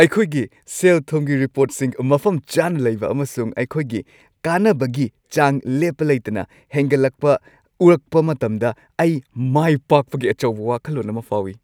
ꯑꯩꯈꯣꯏꯒꯤ ꯁꯦꯜ-ꯊꯨꯝꯒꯤ ꯔꯤꯄꯣꯔꯠꯁꯤꯡ ꯃꯐꯝ ꯆꯥꯅ ꯂꯩꯕ ꯑꯃꯁꯨꯡ ꯑꯩꯈꯣꯏꯒꯤ ꯀꯥꯟꯅꯕꯒꯤ ꯆꯥꯡ ꯂꯦꯞꯄ ꯂꯩꯇꯅ ꯍꯦꯟꯒꯠꯂꯛꯄ ꯎꯔꯛꯄ ꯃꯇꯝꯗ ꯑꯩ ꯃꯥꯏꯄꯥꯛꯄꯒꯤ ꯑꯆꯧꯕ ꯋꯥꯈꯜꯂꯣꯟ ꯑꯃ ꯐꯥꯎꯏ ꯫